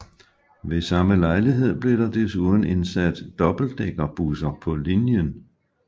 Ved samme lejlighed blev der desuden indsat dobbeltdækkerbusser på linjen